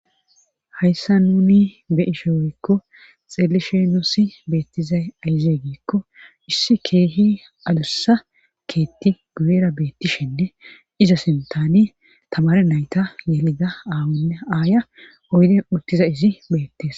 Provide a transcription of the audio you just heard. hayssa nuni be ishe woykko xeelishenoosi beettizay ayze giikko issi keehi adussa keetti guyera beettishenne iza sintani tamare nayta yelida aawonne aaya oyden urtiza izi beettes